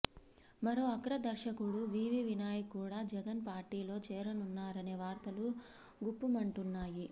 మరో అగ్ర దర్శకుడు వివి వినాయక్ కూడా జగన్ పార్టీలో చేరనున్నారనే వార్తలు గుప్పుమంటున్నాయి